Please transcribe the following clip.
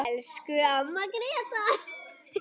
Elsku amma Gréta.